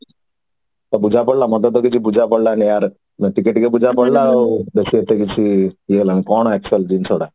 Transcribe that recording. ବୁଝା ପଡିଲା ମତେ ତ କିଛି ବୁଝା ପଡିଲାନି ମତ ଟିକେ ଟିକେ ବୁଝା ପଡିଲା ଆଉ research ଟା ଟିକେ ଇଏ ଲାଗିଲା କଣ actually ଜିନିଷ ଟା